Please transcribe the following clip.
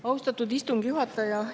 Austatud istungi juhataja!